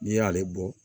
N'i y'ale bɔ